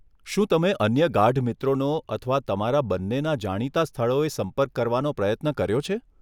શું તમે અન્ય ગાઢ મિત્રોનો અથવા તમારા બંનેના જાણીતાં સ્થળોએ સંપર્ક કરવાનો પ્રયત્ન કર્યો છે?